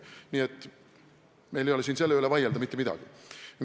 Nii et meil ei ole siin selle üle midagi vaielda mitte midagi.